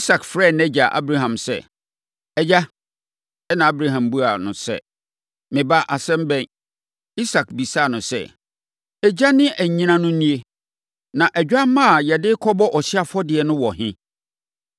Isak frɛɛ nʼagya Abraham sɛ, “Agya!” Ɛnna Abraham buaa sɛ, “Me ba, asɛm bɛn?” Isak bisaa no sɛ, “Egya ne anyina no nie, na odwammaa a yɛde no rekɔbɔ ɔhyeɛ afɔdeɛ no wɔ he?”